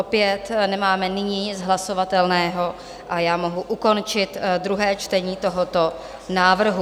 Opět nemáme nyní nic hlasovatelného a já mohu ukončit druhé čtení tohoto návrhu.